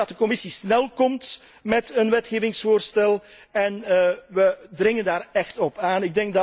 We willen dat de Commissie snel komt met een wetgevingsvoorstel en we dringen daar echt op aan.